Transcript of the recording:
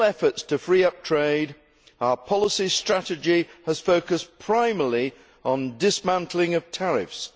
real efforts to free up trade, our policy strategy has focused primarily on the dismantling of tariffs.